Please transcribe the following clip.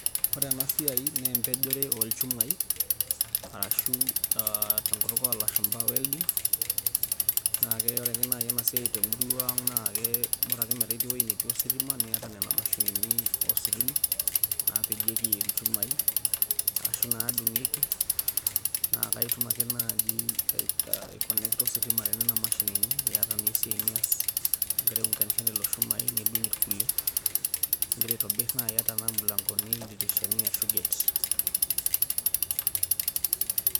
ore ena siai naa empejore oolchumai ashu tenkutuk oo lashumpa welding ore ake naaji ena siai te murua ang naa bora ake metaa itiii ewueji netii ositima niyata nena mashinini ositima naapejieki ichumai ashu naadung'ieki, naa itum ake naaji aikonekta ositima tenena mashini iyata naa esiai nias, igira aiunganisha lelo shumai nidung' irkulie. igira aitobir naaji ata tenaa imilankoni, ildirishani ashu gate.